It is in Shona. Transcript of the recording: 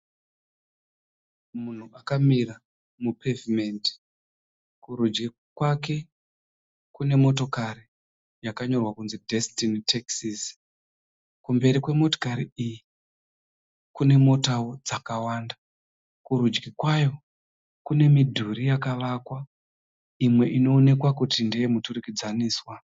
Munhu akamira mupevhimendi. Kurudyi kwake kune motokari yakanyorwa kunzi Destiny Taxis. Kumberi kwemotokari iyi kune motawo dzakawanda. Kurudyi kwayo kune midhuri yakavakwa imwe inoonekwa kuti ndeye muturikidzaniswa.